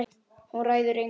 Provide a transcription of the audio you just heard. Hún ræður engu.